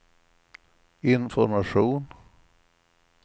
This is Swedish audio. information